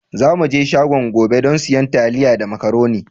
Za mu je shago gobe don siyan taliya da macaroni.